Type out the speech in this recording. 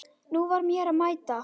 Nú var mér að mæta!